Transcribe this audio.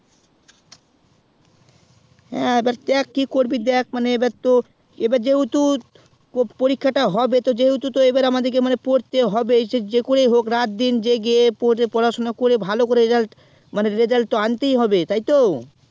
হ্যাঁ তো দেখ কি করবি তো এবার যেহেতু তোর পরীক্ষা তা হবে তো আমাদিকে এবার পড়তে হবে সেই যে করেই হোক রাত দিন জেগে পড়াশুনা করে ভালো result মানে আনতেই হবে তাই তো